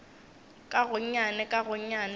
ka gonnyane ka gonnyane go